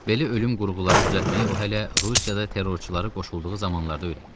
Belə ölüm qurğuları düzəltməyi o hələ Rusiyada terrorçulara qoşulduğu zamanlarda öyrənmişdi.